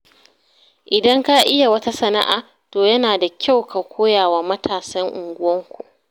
Idan ka iya wata san'a, to yana da kyau ka koyawa matasan unguwarku.